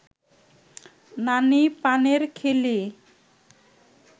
নানি পানের খিলি